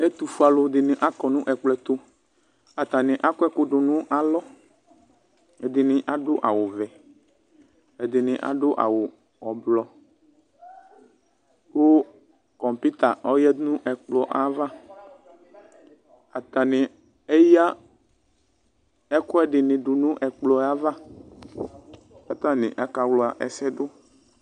Ɛtufue alʋdini akɔnʋ ɛkplɔ ɛtʋ atani akɔ ɛkʋ dʋnʋ alɔ ɛdini adʋ awʋvɛ ɛdini adʋ awʋ ɔblɔ kʋ kɔputa ɔyadʋ nʋ ɛkplɔ ava atani eya ɛkʋɛdini dʋnʋ ɛkplɔ yɛ ava kʋ atani akawla ɛsɛdʋ